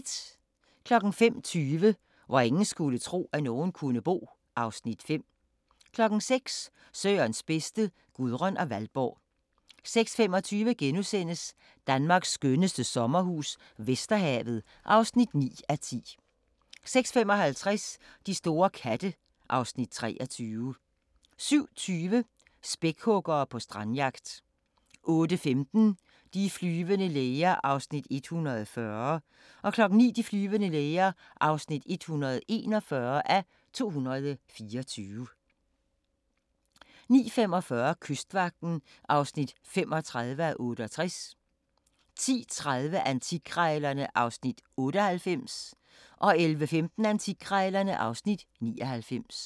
05:20: Hvor ingen skulle tro, at nogen kunne bo (Afs. 5) 06:00: Sørens bedste: Gudrun og Valborg 06:25: Danmarks skønneste sommerhus - Vesterhavet (9:10)* 06:55: De store katte (Afs. 23) 07:20: Spækhuggere på strandjagt 08:15: De flyvende læger (140:224) 09:00: De flyvende læger (141:224) 09:45: Kystvagten (35:68) 10:30: Antikkrejlerne (Afs. 98) 11:15: Antikkrejlerne (Afs. 99)